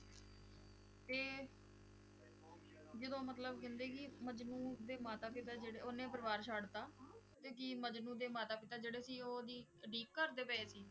ਤੇ ਜਦੋਂ ਮਤਲਬ ਕਹਿੰਦੇ ਕਿ ਮਜਨੂੰ ਦੇ ਮਾਤਾ ਪਿਤਾ ਜਿਹੜੇ ਉਹਨੇ ਪਰਿਵਾਰ ਛੱਡ ਦਿੱਤਾ, ਤੇ ਕੀ ਮਜਨੂੰ ਦੇ ਮਾਤਾ ਪਿਤਾ ਜਿਹੜੇ ਸੀ ਉਹਦੀ ਉਡੀਕ ਕਰਦੇ ਪਏ ਸੀ?